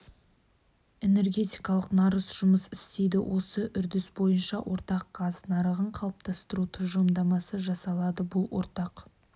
энергетикалық нарық жұмыс істейді осы үрдіс бойынша ортақ газ нарығын қалыптастыру тұжырымдамасы жасалады бұл ортақ